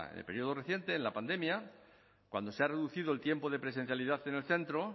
el periodo reciente en la pandemia cuando se ha reducido el tiempo de presencialidad en el centro